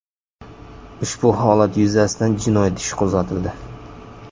Ushbu holat yuzasidan jinoyat ishi qo‘zg‘atildi.